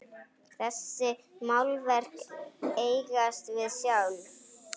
Þessi málverk eigast við sjálf.